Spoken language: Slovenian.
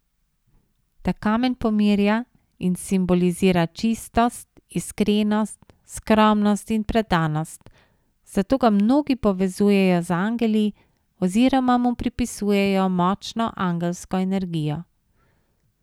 Ta kamen pomirja in simbolizira čistost, iskrenost, skromnost in predanost, zato ga mnogi povezujejo z angeli oziroma mu pripisujejo močno angelsko energijo.